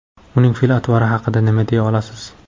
Uning fe’l-atvori haqida nima deya olasiz?